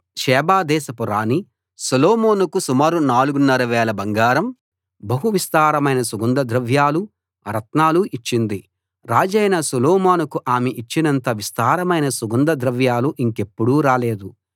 Sheba దేశపు రాణి సొలొమోనుకు సుమారు నాలుగున్నర వేల బంగారం బహు విస్తారమైన సుగంధ ద్రవ్యాలు రత్నాలు ఇచ్చింది రాజైన సొలొమోనుకు ఆమె ఇచ్చినంత విస్తారమైన సుగంధ ద్రవ్యాలు ఇంకెప్పుడూ రాలేదు